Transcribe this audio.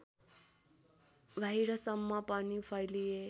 बाहिरसम्म पनि फैलिए